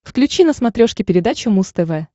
включи на смотрешке передачу муз тв